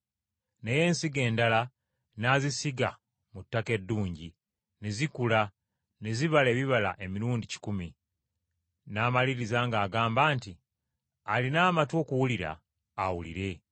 Naye ensigo endala n’azisiga mu ttaka eddungi, ne zikula ne zibala ebibala emirundi kikumi.” N’amaliriza ng’agamba nti, “Alina amatu okuwulira awulire.”